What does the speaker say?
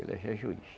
Ele já é juiz.